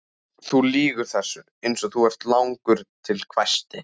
Þú lýgur þessu eins og þú ert langur til, hvæsti